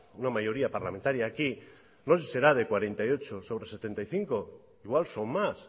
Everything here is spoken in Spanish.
una mayoría parlamentaria aquí no se si será de cuarenta y ocho sobre setenta y cinco igual son más